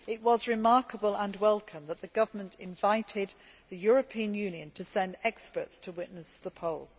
It was remarkable and welcome that the government invited the European Union to send experts to witness the poll.